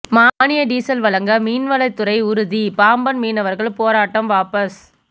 மானிய டீசல் வழங்க மீன்வளத்துறை உறுதி பாம்பன் மீனவா்கள் போராட்டம் வாபஸ்